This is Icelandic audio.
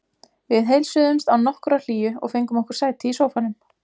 Við heilsuðumst án nokkurrar hlýju og fengum okkur sæti í sófanum.